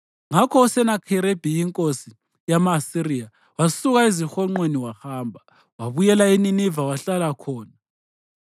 Ngakho uSenakheribhi inkosi yama-Asiriya wasuka ezihonqweni wahamba. Wabuyela eNiniva wahlala khona.